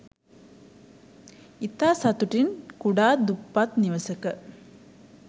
ඉතා සතුටින් කුඩා දුප්පත් නිවසක